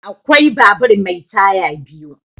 Akwai babur mai taya biyu.